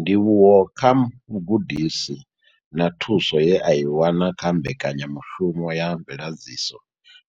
Ndivhuwo kha vhugudisi na thuso ye a i wana kha Mbekanya mushumo ya Mveladziso